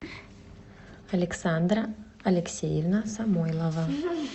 александра алексеевна самойлова